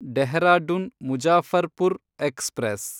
Dehradun Muzaffarpur express